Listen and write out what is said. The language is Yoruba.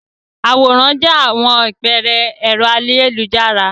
Àwòrán jẹ àpẹẹrẹ ẹ̀rọ ayélujára.